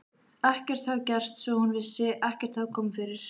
Ekkert hafði gerst, svo hún vissi, ekkert hafði komið fyrir.